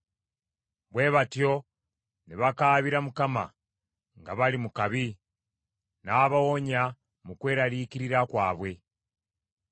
Bwe batyo ne bakaabira Mukama nga bali mu kabi; n’abawonya mu kweraliikirira kwabwe.